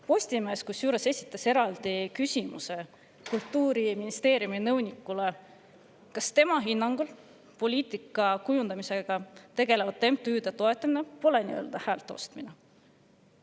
Postimees esitas Kultuuriministeeriumi nõunikule küsimuse, kas tema hinnangul poliitika kujundamisega tegelevate MTÜ-de toetamine pole häälte ostmine.